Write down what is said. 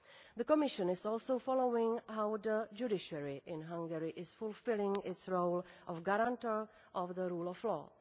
The Commission is also following how the judiciary in Hungary is fulfilling its role of guarantor of the rule of